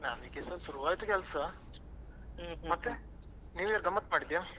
ನಮಗೆ ಸ ಶುರುವಾಯ್ತು ಕೆಲ್ಸ ಮತ್ತೆ new year ಗಮ್ಮತ್ ಮಾಡಿದ್ಯಾ?